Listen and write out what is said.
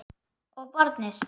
Og barnið.